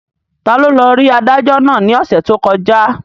Taló lọ rí adájọ́ náà ní ọ̀sẹ̀ tó kọjá?